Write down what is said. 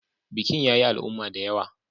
Bikin ya yi al'umma da yawa.